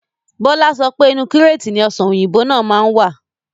Bọlá sọpé Inu kíreetì ni Ọ̀sán òyìnbó máa ń wà.